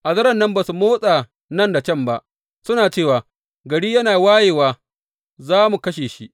A daren nan ba su motsa nan da can ba, suna cewa, Gari yana wayewa za mu kashe shi.